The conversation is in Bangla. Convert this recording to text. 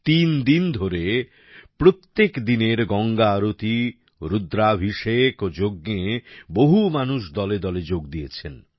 তিন দিন ধরে প্রত্যেক দিনের গঙ্গা আরতি রুদ্রাভিষেক ও যজ্ঞে বহু মানুষ দলে দলে যোগ দিয়েছেন